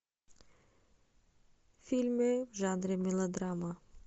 фильмы в жанре мелодрама